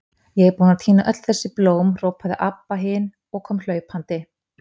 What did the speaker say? Ég er búin að tína öll þessi blóm, hrópaði Abba hin og kom hlaupandi.